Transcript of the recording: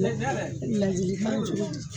ladilikan cogo di.